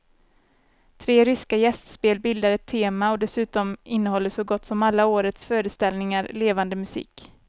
Tre ryska gästspel bildar ett tema och dessutom innehåller så gott som alla årets föreställningar levande musik.